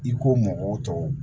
I ko mɔgɔw tɔ